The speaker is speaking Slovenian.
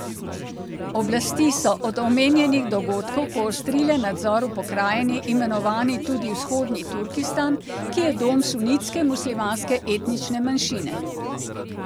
Oblasti so od omenjenih dogodkov poostrile nadzor v pokrajini, imenovani tudi Vzhodni Turkistan, ki je dom sunitske muslimanske etnične manjšine.